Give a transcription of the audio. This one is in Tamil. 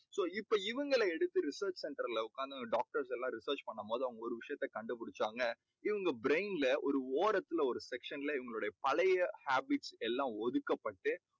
so இப்போ இவங்களை எடுத்து research center ல உக்காந்து doctors எல்லாம் research பண்ணும் போது அவங்க ஒரு விஷயத்தை கண்டுபிடிச்சாங்க. இவங்க brain ல ஒரு ஓரத்துல ஒரு section ல இவங்களுடைய பழைய habits எல்லாம் ஒதுக்கப்பட்டு